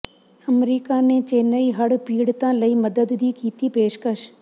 America ਨੇ ਚੇਨਈ ਹੜ੍ਹ ਪੀੜਤਾਂ ਲਈ ਮਦਦ ਦੀ ਕੀਤੀ ਪੇਸ਼ਕਸ਼